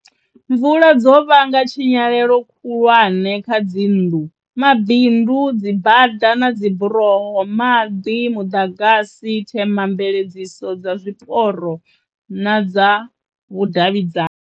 Mvula dzo vhanga tshinyalelo khulwane kha dzinnḓu, mabindu, dzibada na dziburoho, maḓi, muḓagasi, themamveledziso dza zwiporo na dza vhudavhidzani.